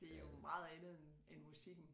Det er jo meget andet end end musikken